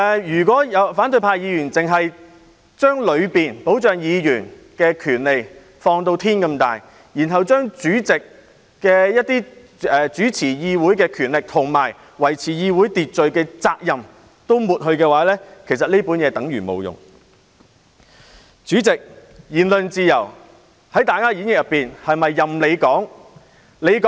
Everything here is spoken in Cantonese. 如果反對派議員只把當中保障議員的權利放至無限大，然後把主席主持議會的權力及維持議會秩序的責任都抹去，其實《議事規則》便等於沒有作用。